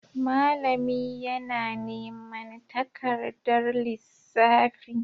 Malami yana neman takardar lissafi.